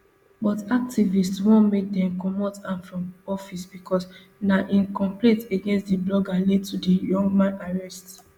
but activists want make dem comot am from office becos na im complaint against di blogger lead to di young man arrest